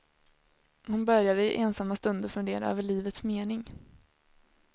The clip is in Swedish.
Hon började i ensamma stunder fundera över livets mening.